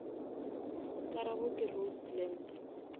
karabo ke roast lamb